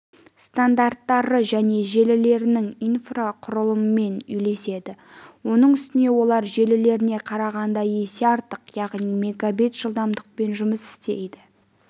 стандарттары және желілерінің инфрақұрылымымен үйлеседі оның үстіне олар желілеріне қарағанда есе артық яғни мегабит жылдамдықпен жұмыс істей